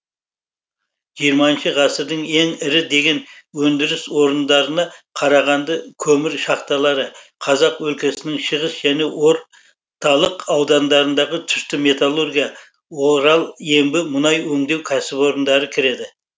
жиырмаыншы ғасырдың ең ірі деген өндіріс орындарына қарағанды көмір шахталары қазақ өлкесінің шығыс және орталық аудандарындағы түсті металлургия орал ембі мұнай өңдеу кәсіпорындары кіреді